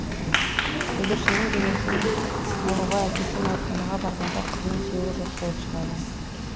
бүлдіршіннің денесін алуға әкесі мәйітханаға барғанда қызының сүйегі жоқ болып шығады